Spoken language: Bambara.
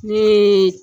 Ne ye